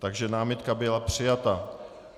Takže námitka byla přijata.